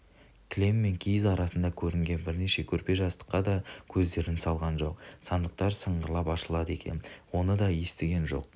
кілем мен киіз арасында көрінген бірнеше көрпе-жастыққа да көздерін салған жоқ сандықтар сыңғырлап ашылады екен оны да естіген жоқ